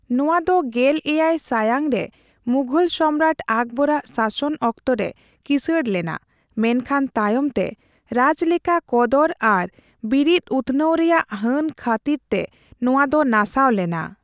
ᱱᱚᱣᱟ ᱫᱚ ᱜᱮᱞ ᱮᱭᱟᱭ ᱥᱟᱭᱟᱝ ᱨᱮ ᱢᱩᱷᱚᱞ ᱥᱚᱢᱨᱟᱴ ᱟᱠᱵᱚᱨᱟᱜ ᱥᱟᱥᱚᱱ ᱚᱠᱛᱚ ᱨᱮ ᱠᱤᱥᱟᱹᱲ ᱞᱮᱱᱟ, ᱢᱮᱱᱠᱷᱟᱱ ᱛᱟᱭᱚᱢᱛᱮ ᱨᱟᱡᱽᱞᱮᱠᱟ ᱠᱚᱫᱚᱨ ᱟᱨ ᱵᱤᱨᱤᱛ ᱩᱛᱱᱟᱹᱣ ᱨᱮᱭᱟᱜ ᱦᱟᱹᱱ ᱠᱷᱟᱹᱛᱤᱨ ᱛᱮ ᱱᱚᱣᱟ ᱫᱚ ᱱᱟᱥᱟᱣ ᱞᱮᱱᱟ ᱾